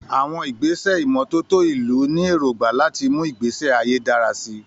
Àwọn ìgbésẹ̀ ìmọ́tótó ìlú ní èrògbà láti mú ìgbésí ayé dára sí i.